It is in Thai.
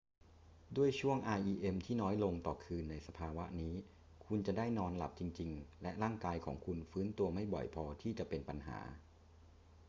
ด้วยช่วง rem ที่น้อยลงต่อคืนในสภาวะนี้คุณจะได้นอนหลับจริง ๆ และร่างกายของคุณฟื้นตัวไม่บ่อยพอที่จะเป็นปัญหา